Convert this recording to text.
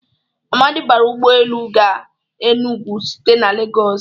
Amadị bara ụgbọ elu ga Enụgwụ site na Legọs